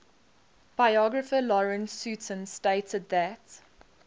biographer lawrence sutin stated that